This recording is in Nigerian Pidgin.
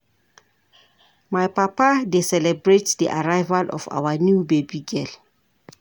My papa dey celebrate di arrival of our new baby girl.